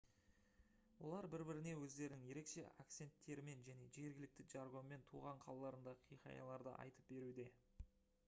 олар бір-біріне өздерінің ерекше акценттерімен және жергілікті жаргонмен туған қалаларындағы хикаяларды айтып беруде